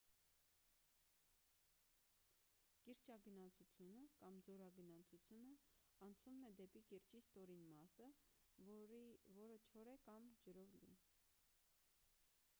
կիրճագնացությունը կամ ձորագնացությունը անցումն է դեպի կիրճի ստորին մասը որը կամ չոր է կամ ջրով լի: